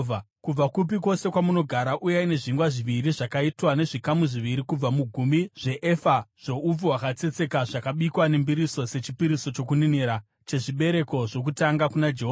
Kubva kupi kwose kwamunogara, uyai nezvingwa zviviri zvakaitwa nezvikamu zviviri kubva mugumi zveefa zvoupfu hwakatsetseka zvakabikwa nembiriso sechipiriso chokuninira chezvibereko zvokutanga kuna Jehovha.